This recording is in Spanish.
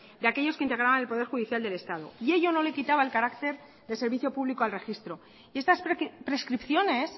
de aquellos que integraban el poder judicial del estado y ello no le quitaba el carácter de servicio público al registro y estas prescripciones